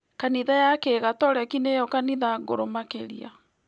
Kanitha ya kĩgatoreki nĩyo kanitha ngũrũ makĩria